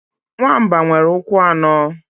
Nwamba nwere ụkwụ anọ.